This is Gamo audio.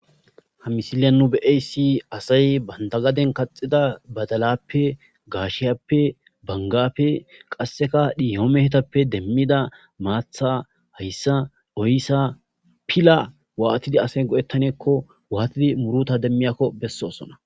ha misiliyan nu be7ay si asay bandagaden kaxida badalappe gaashiyappe bangappe qasseka dhihoomehetappe demmida maatha hayssa oyssa pila waatidi asay godettaneekko waatidi muruta demmiyakko bessosona